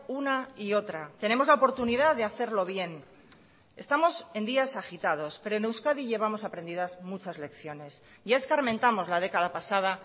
una y otra tenemos la oportunidad de hacerlo bien estamos en días agitados pero en euskadi llevamos aprendidas muchas lecciones ya escarmentamos la década pasada